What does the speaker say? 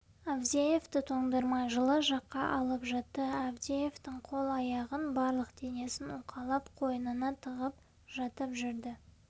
авдеевті тоңдырмай жылы жаққа алып жатты авдеевтің қол-аяғын барлық денесін уқалап қойнына тығып жатып жүрді